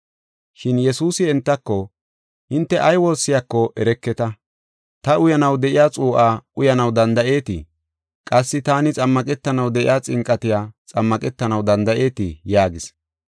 Shin Yesuusi entako, “Hinte ay woossiyako ereketa, ta uyanaw de7iya xuu7aa uyanaw danda7eetii? Qassi taani xammaqetanaw de7iya xinqatiya xammaqetanaw danda7eetii?” yaagis.